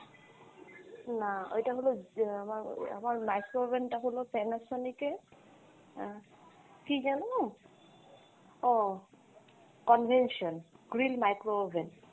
না, ওইটা হলো ইয়ে আমার আমার micro oven টা হলো Panasonic এর আহ কী যেন নাম ও convention green micro oven।